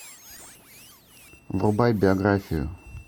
врубай биографию